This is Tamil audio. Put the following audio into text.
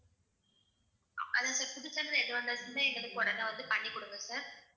அதான் sir புது channel எது வந்தாச்சுமே எங்களுக்கு உடனே வந்து பண்ணிகுடுங்க sir